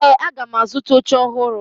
Ee, aga m azụta oche ọhụrụ